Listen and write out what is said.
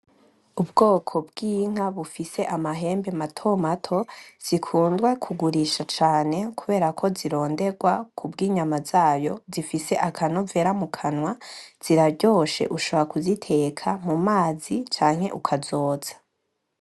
Ubwoko bw'inka bufise amahembe matomato zikundwa kugurisha cane kuberako zirondegwa kubw'inyama zayo zifise akanovera mu kanwa, ziraryoshe ushobora kuziteka mu mazi canke ukazotsa.